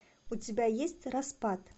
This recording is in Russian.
у тебя есть распад